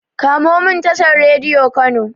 Komomin tashar Radiyo Kano.